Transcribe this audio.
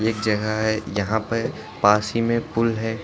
जगह है यहाँ पास ही में पूल है।